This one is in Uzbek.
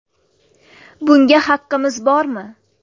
Bunga haqimiz bormi?